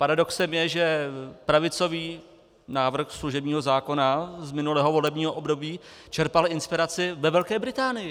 Paradoxem je, že pravicový návrh služebního zákona z minulého volebního období čerpal inspiraci ve Velké Británii.